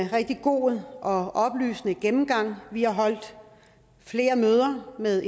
rigtig god og oplysende gennemgang af det vi har holdt flere møder med